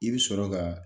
I bɛ sɔrɔ ka